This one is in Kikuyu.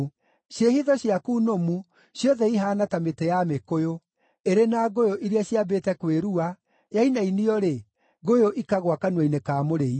Ciĩhitho ciaku nũmu ciothe ihaana ta mĩtĩ ya mĩkũyũ, ĩrĩ na ngũyũ iria ciambĩte kwĩrua, yainainio-rĩ, ngũyũ ikagũa kanua-inĩ ka mũrĩi.